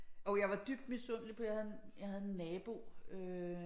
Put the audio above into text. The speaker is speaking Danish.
Jo jeg var dybt misundelig på jeg havde en jeg havde en nabo øh